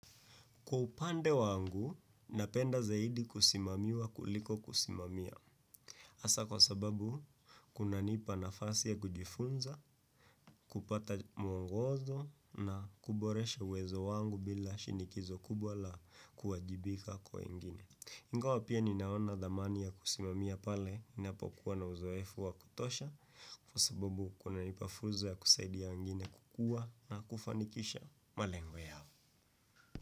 Kwa upande wangu, napenda zaidi kusimamiwa kuliko kusimamia. Hasa kwa sababu, kunanipa nafasi ya kujifunza, kupata mwongozo na kuboresha uwezo wangu bila shinikizo kubwa la kuwajibika kwa wengine. Ingawa pia ninaona thamani ya kusimamia pale, ninapokuwa na uzoefu wa kutosha, kwa sababu kuna nipa fuzo ya kusaidia wengine kukua na kufanikisha malengo yao.